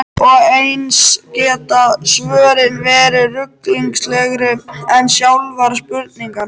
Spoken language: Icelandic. Og eins geta svörin verið ruglingslegri en sjálfar spurningarnar.